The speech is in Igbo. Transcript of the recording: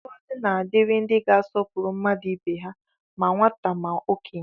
Ngọzi na-adịrị ndị ga-asọpụrụ mmadụ ibe ha, ma nwata ma okenye